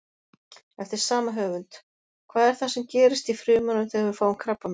Eftir sama höfund: Hvað er það sem gerist í frumunum þegar við fáum krabbamein?